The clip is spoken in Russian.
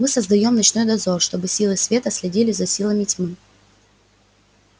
мы создаём ночной дозор чтобы силы света следили за силами тьмы